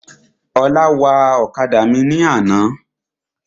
Ọlá wa ọ̀kadà mi ní àná.